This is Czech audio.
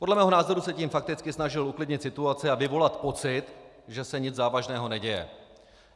Podle mého názoru se tím fakticky snažil uklidnit situaci a vyvolat pocit, že se nic závažného neděje.